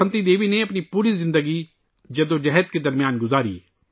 بسنتی دیوی نے اپنی پوری زندگی جدوجہد کے درمیان گزاری